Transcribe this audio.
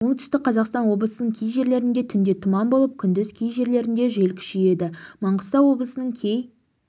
оңтүстік қазақстан облысының кей жерлерінде түнде тұман болып күндіз кей жерлерінде жел күшейеді маңғыстау облысының кей